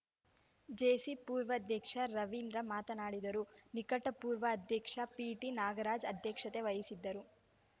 JC ಪೂರ್ವಾಧ್ಯಕ್ಷ ರವೀಂದ್ರ ಮಾತನಾಡಿದರು ನಿಕಟಪೂರ್ವ ಅಧ್ಯಕ್ಷ ಪಿಟಿ ನಾಗರಾಜ ಅಧ್ಯಕ್ಷತೆ ವಹಿಸಿದ್ದರು